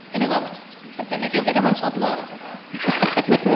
এনেকুৱা মানে উম to তেনেকেয়ো কেইটামান লোৱা হৈছে